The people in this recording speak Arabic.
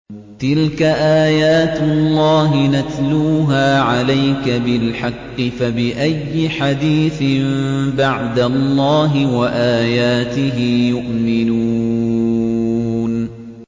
تِلْكَ آيَاتُ اللَّهِ نَتْلُوهَا عَلَيْكَ بِالْحَقِّ ۖ فَبِأَيِّ حَدِيثٍ بَعْدَ اللَّهِ وَآيَاتِهِ يُؤْمِنُونَ